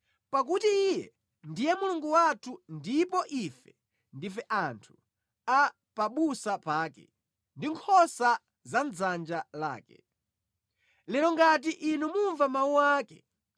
pakuti Iye ndiye Mulungu wathu ndipo ife ndife anthu a pabusa pake, ndi nkhosa za mʼdzanja lake. Lero ngati inu mumva mawu ake,